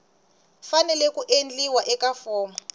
fanele ku endliwa eka fomo